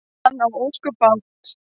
Hann á ósköp bágt.